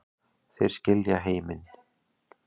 Þeir skilja heiminn